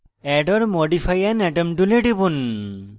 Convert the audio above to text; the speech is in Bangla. add or modify an atom tool টিপুন